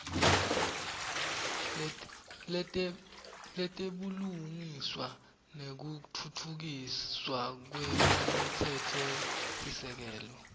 letebulungisa nekutfutfukiswa kwemtsetfosisekelo